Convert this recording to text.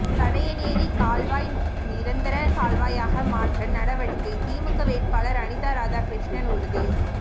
சடையநேரி கால்வாய் நிரந்தர கால்வாயாக மாற்ற நடவடிக்கை திமுக வேட்பாளர் அனிதாராதாகிருஷ்ணன் உறுதி